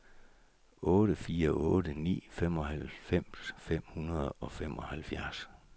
otte fire otte ni femoghalvfems fem hundrede og femoghalvfjerds